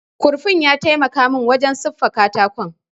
Kurfin ya taimaka min wurin siffa katakon